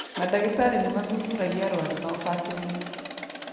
Mandagĩtarĩ nĩmathuthuragia arwaru na ũbacĩrĩri